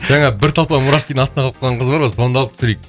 жаңа бір толпа мурашкидің астына қалып қалған қыз бар ғой соны да алып көрейік